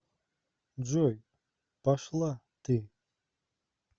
джой пошла ты